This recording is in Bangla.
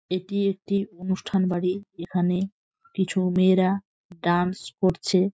এটি একটি অনুষ্ঠান বাড়ি এখানে কিছু মেয়েরা ডান্স করছে।